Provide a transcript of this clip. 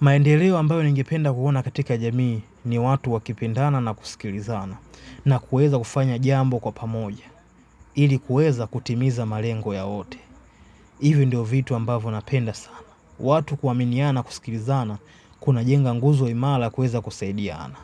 Maendeleo ambayo ningependa kuona katika jamii ni watu wakipendana na kusikilizana na kuweza kufanya jambo kwa pamoja, ili kuweza kutimiza malengo yao yote. Ivi ndiyo vitu ambavyo napenda sana. Watu kuaminiana kusikilizana, kunajenga nguzo imara kuweza kusaidiana.